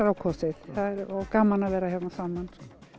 á kosið og gaman að vera hérna saman